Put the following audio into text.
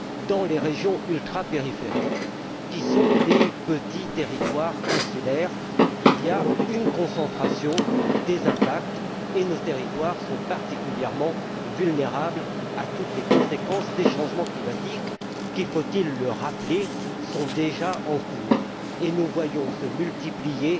Dans les régions ultrapériphériques, qui sont des petits territoires insulaires, il y a une concentration des impacts, et nos territoires sont particulièrement vulnérables à toutes les conséquences des changements climatiques qui faut il le rappeler sont déjà en cours. Nous voyons ainsi se multiplier,